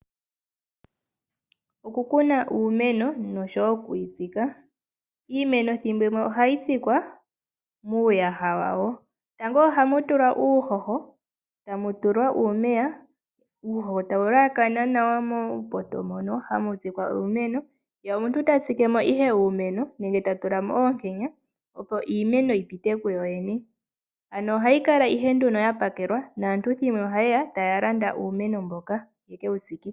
Okukuna uumeno noshowo oku yi tsika. Iimeno ethimbo limwe ohayi tsikwa muuyaha wawo. Tango ohamu tulwa uuhoho e tamu tulwa omeya. Uuhoho owa hawu elakana nawa muupoto mono hamu tsikwa uumeno ye omuntu ta tsike mo ihe uumeno nenge ta tula mo oonkenya, opo iimeno yi pite kuyo yene. Ohayi kala ihe ya pakelwa naantu thimbo limwe ohaye ya okulanda uumeno mboka ye ke wu tsike.